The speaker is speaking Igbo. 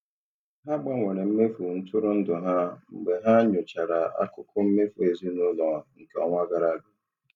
Ha gbanwere mmefu ntụrụndụ ha mgbe ha nyochachara akụkọ mmefu ezinụlọ nke ọnwa gara aga.